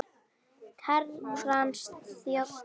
Herrans þjónn það ber.